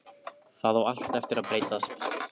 Það á allt eftir að breytast!